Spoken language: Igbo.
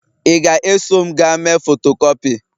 ị ga-eso m gaa mee fotokopi?